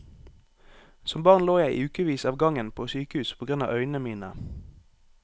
Som barn lå jeg i ukevis av gangen på sykehus på grunn av øynene mine.